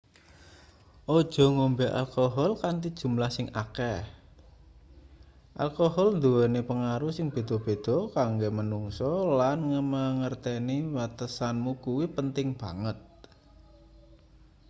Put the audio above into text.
aja ngombe alkohol kanthi jumlah sing akeh alkohol nduweni pengaruh sing beda-beda kanggo manungsa lan mangerteni watesanmu kuwi penting banget